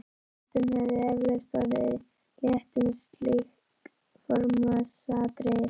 Flestum hefði eflaust orðið létt um slík formsatriði.